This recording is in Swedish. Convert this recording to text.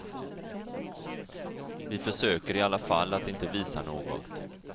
Vi försöker i varje fall att inte visa något.